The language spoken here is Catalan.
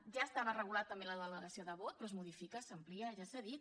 ja estava regulada també la delegació de vot però es modifica s’amplia ja s’ha dit